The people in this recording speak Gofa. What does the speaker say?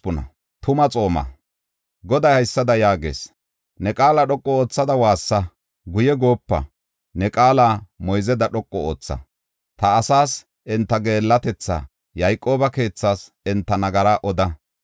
Goday haysada yaagees: “Ne qaala dhoqu oothada waassa; guye goopa; ne qaala moyzeda dhoqu ootha. Ta asaas enta geellatetha, Yayqooba keethaas enta nagaraa oda.